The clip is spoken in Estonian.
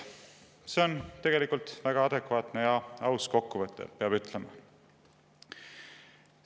See on tegelikult väga adekvaatne ja aus kokkuvõte, peab ütlema.